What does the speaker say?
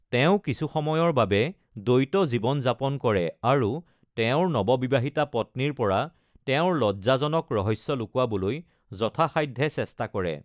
তেওঁ কিছু সময়ৰ বাবে দ্বৈত জীৱন যাপন কৰে আৰু তেওঁৰ নৱবিবাহিতা পত্নীৰ পৰা তেওঁৰ লজ্জাজনক ৰহস্য লুকুৱাবলৈ যথাসাধ্যে চেষ্টা কৰে।